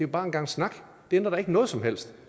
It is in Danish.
bare en gang snak det ændrer da ikke noget som helst